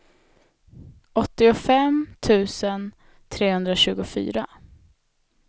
åttiofem tusen trehundratjugofyra